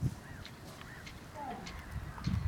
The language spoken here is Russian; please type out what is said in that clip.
хади